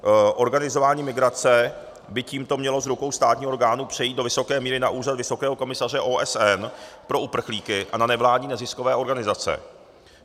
Organizování migrace by tímto mělo z rukou státních orgánů přejít do vysoké míry na Úřad vysokého komisaře OSN pro uprchlíky a na nevládní neziskové organizace.